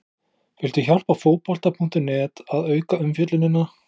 Viltu hjálpa Fótbolta.net að auka umfjöllunina?